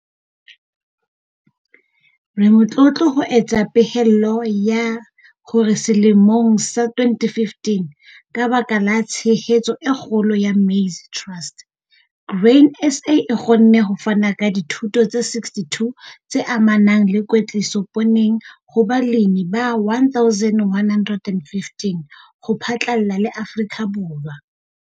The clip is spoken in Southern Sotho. Re motlotlo ho etsa pehelo ya hore selemong sa 2015 ka baka la tshehetso e kgolo ya Maize Trust, Grain SA e kgonne ho fana ka dithuto tse 62 tse amanang le kwetliso pooneng ho balemi ba 1 115 ho phatlalla le Afrika Borwa.